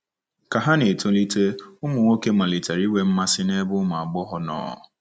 Ka ha na-etolite, ụmụ nwoke malitere inwe mmasị n'ebe ụmụ agbọghọ nọ.